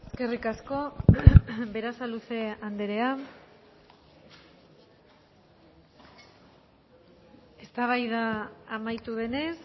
eskerrik asko berasaluze anderea eztabaida amaitu denez